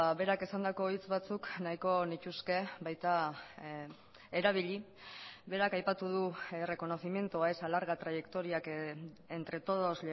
berak esandako hitz batzuk nahiko nituzke baita erabili berak aipatu du reconocimiento a esa larga trayectoria que entre todos